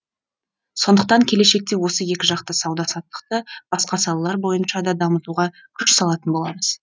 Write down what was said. сондықтан келешекте осы екіжақты сауда саттықты басқа салалар бойынша да дамытуға күш салатын боламыз